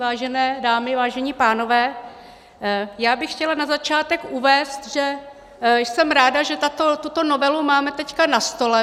Vážené dámy, vážení pánové, já bych chtěla na začátek uvést, že jsem ráda, že tuto novelu máme teď na stole.